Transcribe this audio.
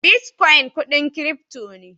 "Bitcoin" kudin "crypto" ne.